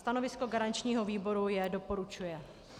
Stanovisko garančního výboru je: doporučuje.